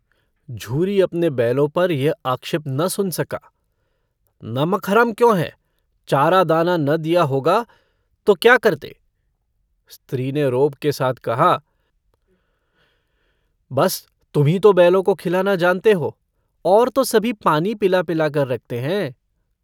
झूरी अपने बैलों पर यह आक्षेप न सुन सका। नमकहराम क्यों हैं? चारा-दाना न दिया होगा तो क्या करते? स्त्री ने रोब के साथ कहा - बस तुम्हीं तो बैलों को खिलाना जानते हो। और तो सभी पानी पिला-पिलाकर रखते हैं।